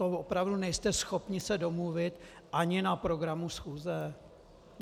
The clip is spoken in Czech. To opravdu nejste schopni se domluvit ani na programu schůze?